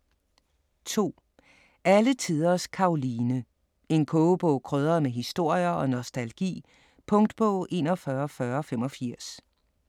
2. Alle tiders Karoline: en kogebog krydret med historier og nostalgi Punktbog 414085